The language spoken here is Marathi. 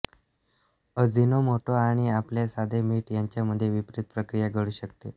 अजिनोमोटो आणि आपले साधे मीठ यांच्यामध्ये विपरीत प्रक्रिया घडू शकते